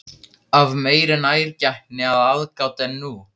Af meiri nærgætni og aðgát en nú?